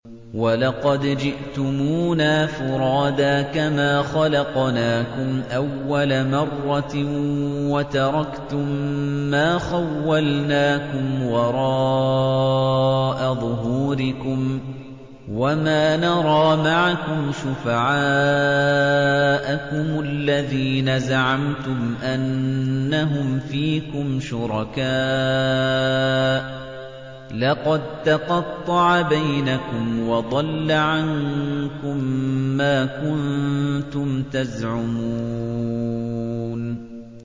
وَلَقَدْ جِئْتُمُونَا فُرَادَىٰ كَمَا خَلَقْنَاكُمْ أَوَّلَ مَرَّةٍ وَتَرَكْتُم مَّا خَوَّلْنَاكُمْ وَرَاءَ ظُهُورِكُمْ ۖ وَمَا نَرَىٰ مَعَكُمْ شُفَعَاءَكُمُ الَّذِينَ زَعَمْتُمْ أَنَّهُمْ فِيكُمْ شُرَكَاءُ ۚ لَقَد تَّقَطَّعَ بَيْنَكُمْ وَضَلَّ عَنكُم مَّا كُنتُمْ تَزْعُمُونَ